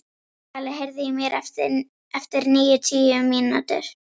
Svali, heyrðu í mér eftir níu mínútur.